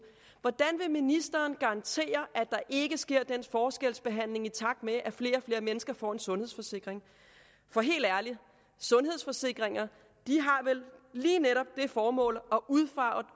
hvordan ministeren garantere at der ikke sker den forskelsbehandling i takt med at flere og flere mennesker får en sundhedsforsikring helt ærligt sundhedsforsikringer har vel lige netop det formål